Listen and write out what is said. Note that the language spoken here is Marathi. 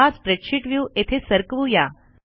हा स्प्रेडशीट व्ह्यू येथे सरकवू या